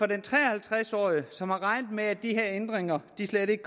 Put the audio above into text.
den tre og halvtreds årige som havde regnet med at de her ændringer slet ikke